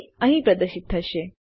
તેને અહીં પ્રદર્શિત થશે